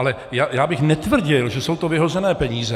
Ale já bych netvrdil, že jsou to vyhozené peníze.